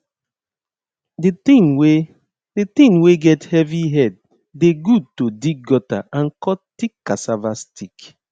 the thing wey the thing wey get heavy head dey good to dig gutter and cut thick cassava stick